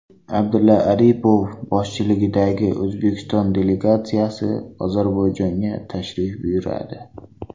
Abdulla Aripov boshchiligidagi O‘zbekiston delegatsiyasi Ozarbayjonga tashrif buyuradi.